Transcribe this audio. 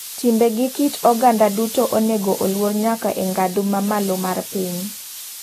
Timbe gi kit oganda duto onego oluor nyaka e ng'adhu mamalo mar piny.